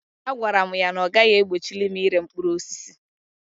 A gwara mụ ya na ọ gaghị egbochili m ire mkpụrụ osisi.